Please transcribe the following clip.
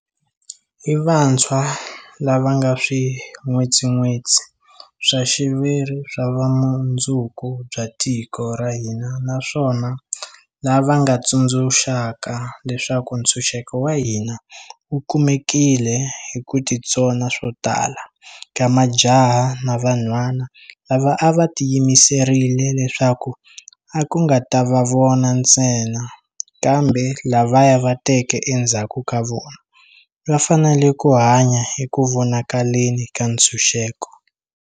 I vantshwa lava nga swin'wetsin'wetsi swa xiviri swa vumundzuku bya tiko ra hina naswona lava nga tsundzuxaka leswaku ntshunxeko wa hina wu kumekile hi ku titsona swo tala ka majaha na vanhwana lava a va tiyimiserile leswaku a ku nga ta va vona ntsena, kambe lavaya va teke endzhaku ka vona, va fanele ku hanya eku vonakaleni ka ntshunxeko.